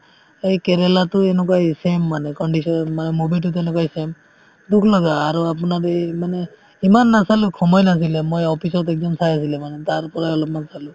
এই কেৰেলা তোও এনেকুৱায়ে same মানে condition মানে movie তো তেনেকুৱায়ে same দুখ লগা আৰু আপোনাৰ এই মানে ইমান নাচালো সময় নাছিলে মই office ত একদিন চাই আছিলে মানে তাৰপৰাই অলপমান চালো